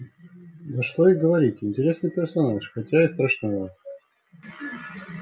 да что и говорить интересный персонаж хотя и страшноват